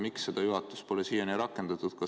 Miks seda juhatuses pole siiani rakendatud?